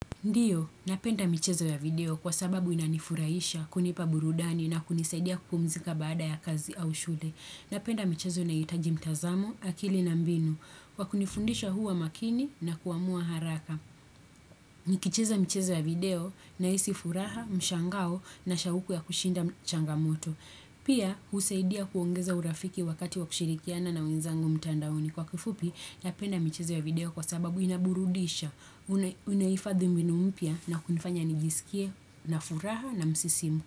Ndio, napenda michezo ya video kwa sababu inanifurahisha, kunipa burudani na kunisaidia kupumzika baada ya kazi au shule. Napenda michezo inayohitaji mtazamo, akili na mbinu, wa kunifundisha huwa makini na kuamua haraka. Nikicheza michezo ya video na hisi furaha, mshangao na shauku ya kushinda changamoto. Pia, husaidia kuongeza urafiki wakati wa kushirikiana na wenzangu mtandaoni. Kwa kifupi, napenda michezo ya video kwa sababu inaburudisha, unahifadhi mbinu mpya na kunifanya nijisikie na furaha na msisimu.